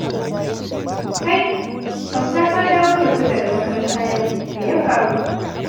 Kai! Auta, ka dawo da wuri daga makaranta yau, me ya faru?